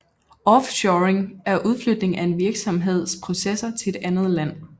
Offshoring er udflytning af en virksomheds processer til et andet land